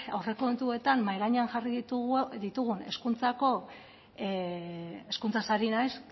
aurrekontuetan mahai gainean jarri ditugun hezkuntzako hezkuntzaz ari naiz